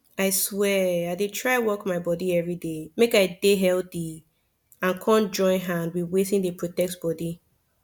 i swear i dey try work my body everyday make i dey healthy and come join hand with wetin dey protect bodi